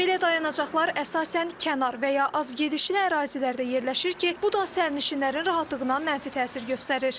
Belə dayanacaqlar əsasən kənar və ya azgedişli ərazilərdə yerləşir ki, bu da sərnişinlərin rahatlığına mənfi təsir göstərir.